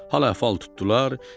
Hal əhval tutdular.